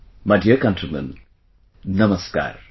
Hello my dear countrymen Namaskar